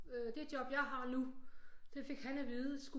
Øh det job jeg har nu det fik han at vide